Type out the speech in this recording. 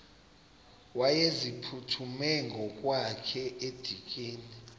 wayeziphuthume ngokwakhe edikeni